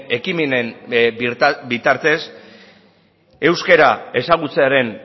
ekimenen bitartez euskararen ezagutza